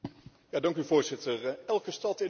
Elke stad in Europa is verschillend.